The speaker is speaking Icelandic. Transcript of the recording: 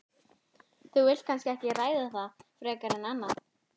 Þú vilt kannski ekki ræða það frekar en annað?